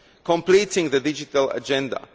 completing the digital agenda